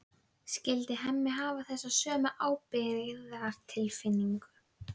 fyrir krufningar og hafði rannsóknarstofu mína í húsinu að Kirkjustræti